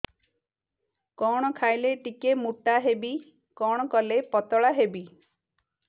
କଣ ଖାଇଲେ ଟିକେ ମୁଟା ହେବି କଣ କଲେ ପତଳା ହେବି